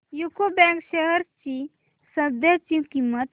UCO bank shares ची सध्याची किंमत